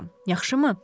Yaxşımı?